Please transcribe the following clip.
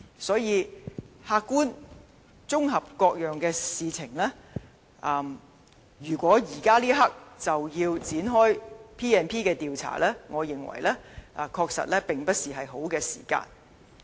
所以，客觀綜合各件事，如果現階段便要引用《立法會條例》展開調查，我認為確實並非適當時間。